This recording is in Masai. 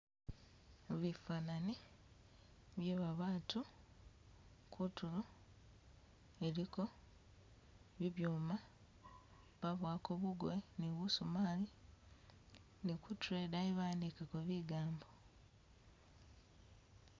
Bifanani byebabatu, kutulo eliko bibyuma babuwako bugoye ni busumali, nikutulo idaayi bawandikako bigambo.